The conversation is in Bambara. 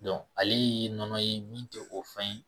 ale ye nɔnɔ ye min tɛ o fɛn ye